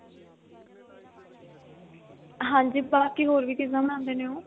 ਹਾਂਜੀ ਬਾਕੀ ਹੋਰ ਵੀ ਚੀਜ਼ਾਂ ਬਣਾਉਣੇ ਨੇ ਉਹ